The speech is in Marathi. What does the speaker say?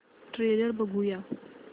ट्रेलर बघूया